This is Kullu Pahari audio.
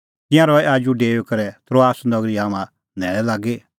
तिंयां रहै आजू डेऊई करै त्रोआस नगरी हाम्हां न्हैल़ै लागी